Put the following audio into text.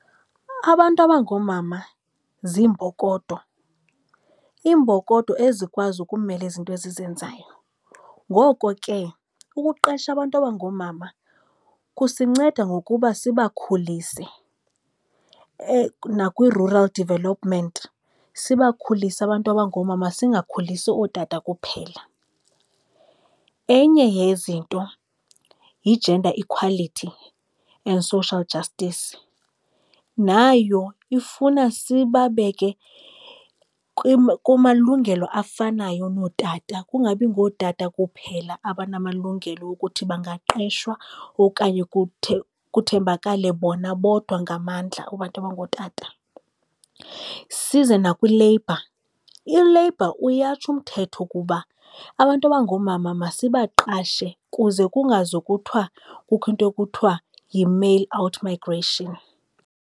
Abantu abangoomama ziimbokodo, iimbokodo ezikwazi ukumela izinto ezizenzayo. Ngoko ke ukuqesha abantu abangoomama kusinceda ngokuba sibakhulise nakwi-rural development, sibakhulise abantu abangoomama singakhulisi ootata kuphela. Enye yezinto yi-gender equality and social justice. Nayo ifuna sibabeke kumalungelo afanayo nootata, kungabi ngootata kuphela abanamalungelo ukuthi bangaqeshwa okanye kuthembakale bona bodwa ngamandla abantu abangootata. Size nakwi-labour, i-labour uyatsho umthetho ukuba abantu abangoomama masibaqashe kuze kungazokuthwa kukho into ekuthiwa yi-male out migration.